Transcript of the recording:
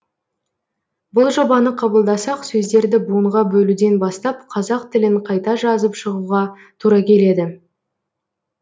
бұл жобаны қабылдасақ сөздерді буынға бөлуден бастап қазақ тілін қайта жазып шығуға тура келеді